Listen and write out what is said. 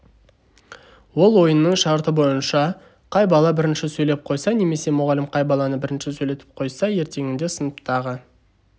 ол ойынның шарты бойынша қай бала бірінші сөйлеп қойса немесе мұғалім қай баланы бірінші сөйлетіп қойса ертеңінде сыныптағы